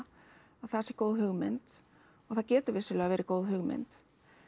að það sé góð hugmynd og það getur vissulega verið góð hugmynd